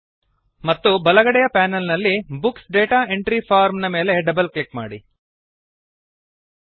ಮತ್ತು ಬಲಗಡೆಯ ಪೆನಲ್ ನಲ್ಲಿ ಬುಕ್ಸ್ ಡಾಟಾ ಎಂಟ್ರಿ ಫಾರ್ಮ್ ನ ಮೇಲೆ ಡಬಲ್ ಕ್ಲಿಕ್ ಮಾಡಿರಿ